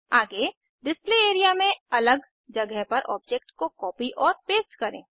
आगे display area में अलग जगह पर ऑब्जेक्ट को कॉपी और पेस्ट करें